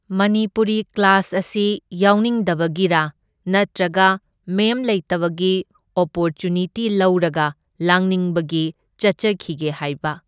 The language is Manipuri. ꯃꯅꯤꯄꯨꯔꯤ ꯀ꯭ꯂꯥꯁ ꯑꯁꯤ ꯌꯥꯎꯅꯤꯡꯗꯕꯒꯤꯔꯥ ꯅꯠꯇ꯭ꯔꯒ ꯃꯦꯝ ꯂꯩꯇꯕꯒꯤ ꯑꯣꯄꯣꯔꯆꯨꯅꯤꯇꯤ ꯂꯧꯔꯒ ꯂꯥꯡꯅꯤꯡꯕꯒꯤ ꯆꯠꯆꯈꯤꯒꯦ ꯍꯥꯏꯕ꯫